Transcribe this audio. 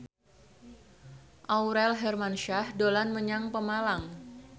Aurel Hermansyah dolan menyang Pemalang